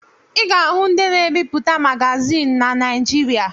Ị ga-ahụ ndị na-ebipụta magazịn na Naịjịrịa.